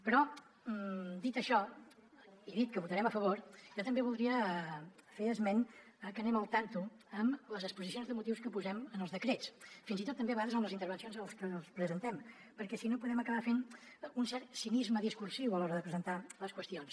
però dit això i dit que hi votarem a favor jo també voldria fer esment de que anem al tanto amb les exposicions de motius que posem en els decrets fins i tot també a vegades amb les intervencions amb les que els presentem perquè si no podem acabar fent un cert cinisme discursiu a l’hora de presentar les qüestions